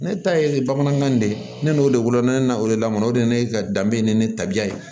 Ne ta ye bamanankan de ye ne n'o de wolo ne na o de lamɔ o de ne ka danbe ni ne tabiya ye